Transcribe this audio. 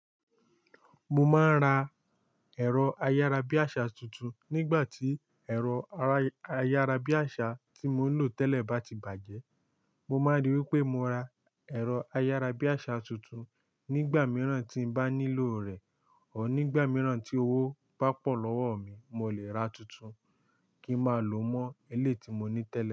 Mo máa ń ra ẹ̀rọ ayárabíàṣà tuntun nígbà tí ẹ̀rọ ayárabíàṣà tí mò ń lò tẹ́lẹ̀ bá ti bàjẹ́. Mo máa ríi wí pé mo ra ẹ̀rọ ayárabíàṣà tuntun nígbà mìíràn tí n bá nílò rẹ̀, Or nígbà mìíràn tí owó bá pọ̀ lọ́wọ́ mi, mo lè ra tuntun kí n máa lò mọ́ ilé tí mo ní tẹ́lẹ̀